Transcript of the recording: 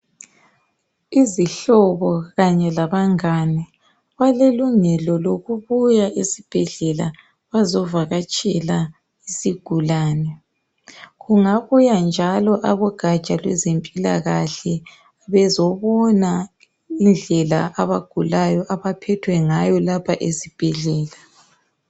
Izihlobo kanye labangane balelungelo lokubuya esibhedlela bazovakatshela isigulane. Kungabuya njalo abogatsha lwezempilakahle bezobona indlela abagulayo abaphethwe ngayo lapha esibhedlela.